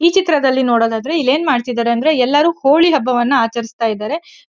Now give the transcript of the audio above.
ಈ ಚಿತ್ರದಲ್ಲಿ ನೋಡೋದು ಆದ್ರೆ ಇಲ್ಲಿ ಏನ್ ಮಾಡ್ತಾ ಇದಾರೆ ಅಂದ್ರೆ ಎಲ್ಲರೂ ಹೋಳಿ ಹಬ್ಬವನ ಆಚರಿಸ್ತಾ ಇದಾರೆ.